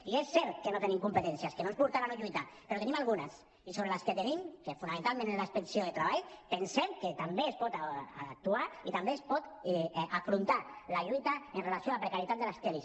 i és cert que no tenim competències que no ens portaran a no lluitar però en tenim algunes i sobre les que tenim que fonamentalment és la inspecció de treball pensem que també es pot actuar i també es pot afrontar la lluita amb relació a la precarietat de les kellys